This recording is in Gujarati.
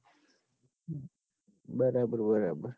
બરાબર બરાબર